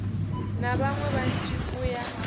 na vhaṋwe vhanzhi u ya